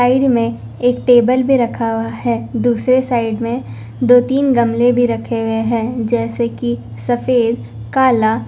side में एक table भी रखा हुआ है दूसरे साइड में दो तीन गमले भी रखे हुए हैं जैसे कि सफेद काला--